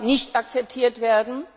nicht akzeptiert wird,